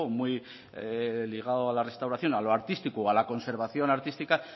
muy ligado a la restauración a lo artístico o a la conservación artística